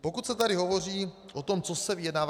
Pokud se tady hovoří o tom, co se vyjednává...